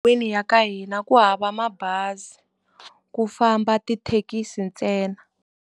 ya ka hina ku hava mabazi, ku famba tithekisi ntsena.